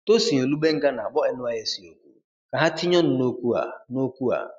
Tosin Olugbenga na-akpọ NYSC oku ka ha tinye ọnụ n'okwu a. n'okwu a.